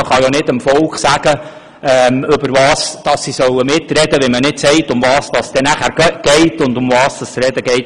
Man kann ja dem Volk nicht sagen, es solle mitreden können, wenn man nicht auch sagt, worum es dabei ginge und worüber gesprochen würde.